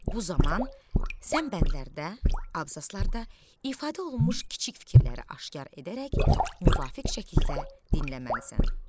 Bu zaman sən bəndlərdə, abzaslarda ifadə olunmuş kiçik fikirləri aşkar edərək müvafiq şəkildə dinləməlisən.